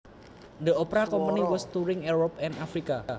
The opera company was touring Europe and Africa